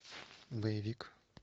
боевик